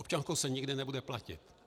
Občankou se nikdy nebude platit.